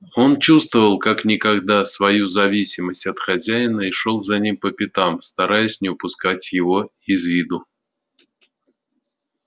он чувствовал как никогда свою зависимость от хозяина и шёл за ним по пятам стараясь не упускать его из виду